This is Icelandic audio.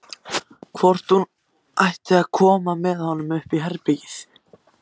Hvort hún ætti að koma með honum upp í herbergið?